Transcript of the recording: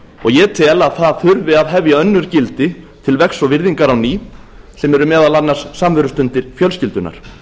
ég tel að það þurfi að hefja önnur gildi til vegs og virðingar á ný sem eru meðal annars samverustundir fjölskyldunnar